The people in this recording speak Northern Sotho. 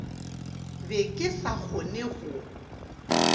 be ke sa kgone go